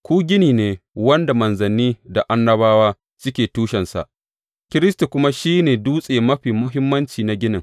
Ku gini ne wanda manzanni da annabawa suke tushensa, Kiristi kuma shi ne dutse mafi muhimmanci na ginin.